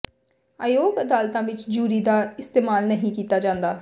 ਅਯੋਗ ਅਦਾਲਤਾਂ ਵਿਚ ਜੂਰੀ ਦਾ ਇਸਤੇਮਾਲ ਨਹੀਂ ਕੀਤਾ ਜਾਂਦਾ